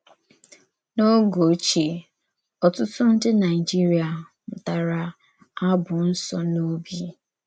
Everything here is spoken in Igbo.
N’ògè òchíè, ọ̀tùtụ̀ ndí Naịjíríà mùtàrā ábù nsọ̀ n’òbì.